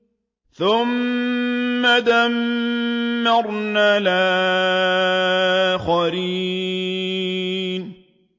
ثُمَّ دَمَّرْنَا الْآخَرِينَ